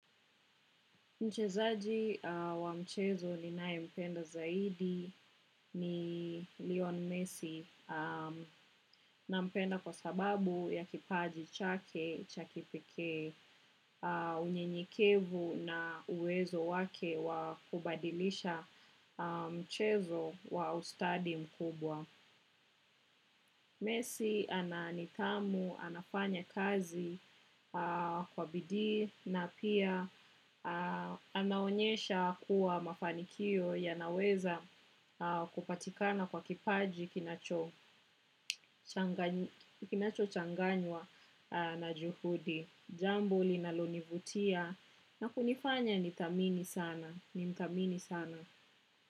Mchezaji wa mchezo ninayempenda zaidi ni Leon Messi na mpenda kwa sababu ya kipaji chake, cha kipekee, unyenyekevu na uwezo wake wa kubadilisha mchezo wa ustadi mkubwa. Mesi ana nidhamu, anafanya kazi kwa bidii na pia anaonyesha kuwa mafanikio yanaweza kupatikana kwa kipaji kinacho changanywa na juhudi. Jambo linalonivutia na kunifanya nimthamini sana.